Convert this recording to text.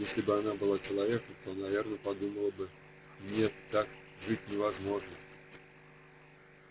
если бы она была человеком то наверное подумала бы не так жить невозможно